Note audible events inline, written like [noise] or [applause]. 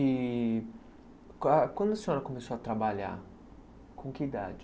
E [unintelligible] quando a senhora começou a trabalhar, com que idade?